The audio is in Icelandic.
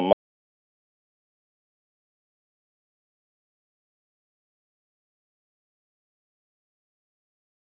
Hvað viti þið um að við höfum ekki klásúlu um að kaupa hann aftur?